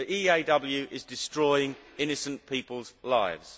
The EAW is destroying innocent people's lives.